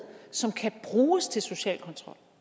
som kan bruges til social kontrol